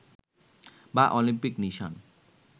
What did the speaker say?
বা অলিম্পিক নিশান